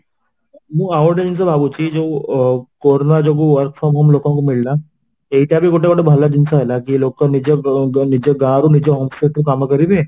ମଁ ଆଉଗୋଟିଏ ଜିନିଷ ଭାବୁଛି ଯୋଉ corona ଯୋଗୁ work from home ଲୋକଙ୍କୁ ମିଳିଲା ଏଇଟାବି ଗୋଟେ ଗୋଟେ ଭଲ ଜିନିଷ ହେଲା ଯିଏ ଲୋକ ନିଜ ନିଜ ଗାଁରୁ ନିଜ home ରୁ କାମ କରିବେ